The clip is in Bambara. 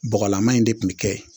Bɔgɔlama in de tun bɛ kɛ